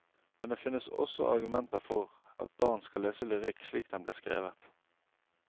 Men det finnes også argumenter for at barn skal lese lyrikk slik den ble skrevet.